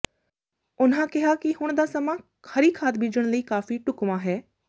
ਉਨ੍ਹਾਂ ਕਿਹਾ ਕਿ ਹੁਣ ਦਾ ਸਮਾਂ ਹਰੀ ਖਾਦ ਬੀਜਣ ਲਈ ਕਾਫੀ ਢੁੱਕਵਾਂ ਹੈ